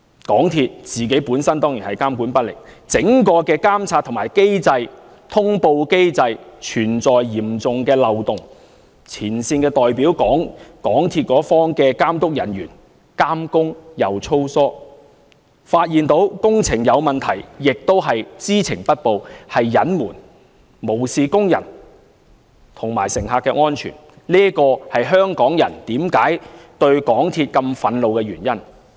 港鐵公司本身當然是監管不力，整個監察、通報機制存在嚴重漏洞，前線的代表、港鐵公司一方的監督人員監工粗疏，發現工程有問題亦知情不報、加以隱瞞，無視工人及乘客的安全，這是香港人對港鐵公司如此憤怒的原因。